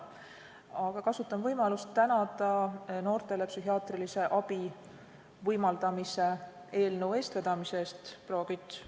Aga kasutan võimalust tänada noortele psühhiaatrilise abi võimaldamise eelnõu eestvedamise eest, proua Kütt.